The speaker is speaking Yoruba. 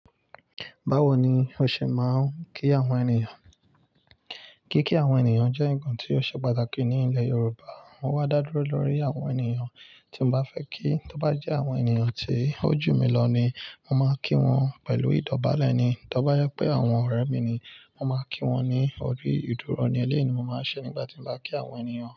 Báwo ni o ṣe máa ń kí àwọn ènìyàn? Kíkí àwọn ènìyàn jẹ́ nǹkan tí ó ṣe pàtàkì ní ilẹ̀ Yorùbá. Mo wá dá dúró lórí àwọn ènìyàn tí n bá fẹ́ kí. Tó bá jẹ́ àwọn ènìyàn tí ó jù mí lọ ni mo máa kí wọn pẹ̀lú ìdọ̀bálẹ̀ ni. Tó bá yẹ pé àwọn ọ̀rẹ́ mi ni, mo máa kí wọ́n ní ọri ìdúró ni. Elẹ́yí ni mo máa ń ṣe nígbà tí mo bá kí àwọn ènìyàn.